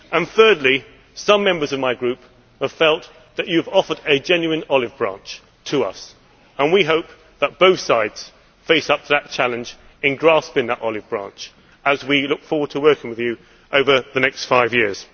Thirdly, some Members in my group feel that you have offered a genuine olive branch to us, and we hope that both sides face up to the challenge of grasping that olive branch as we look forward to working with you over the next five years.